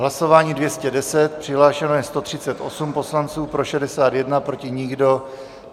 Hlasování 210, přihlášeno je 138 poslanců, pro 61, proti nikdo.